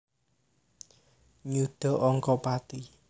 Nyuda angka pati